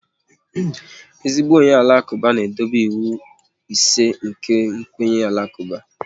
Ezigbo onye Alakuba na-edobe ịwụ ise nke kwenye Alakuba